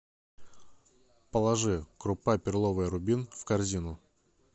положи крупа перловая рубин в корзину